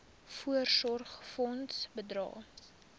voorsorgfonds bydrae